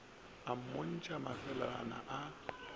a mmontšha mafeelana a a